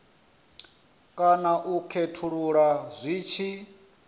kana u khethulula zwi tshi